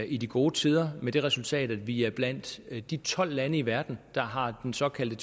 i de gode tider med det resultat at vi er blandt de tolv lande i verden der har den såkaldte